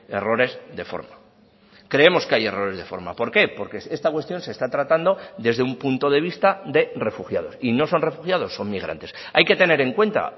errores de forma creemos que hay errores de forma por qué porque esta cuestión se está tratando desde un punto de vista de refugiados y no son refugiados son migrantes hay que tener en cuenta